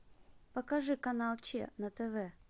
покажи канал че на тв